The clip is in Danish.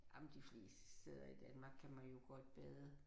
Jamen de fleste steder i Danmark kan man jo godt bade